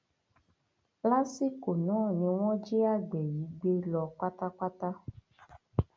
lásìkò náà ni wọn jí àgbẹ yìí gbé lọ pátápátá